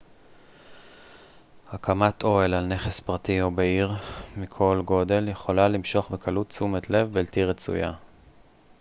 הקמת אוהל על נכס פרטי או בעיר מכל גודל יכולה למשוך בקלות תשומת לב בלתי רצויה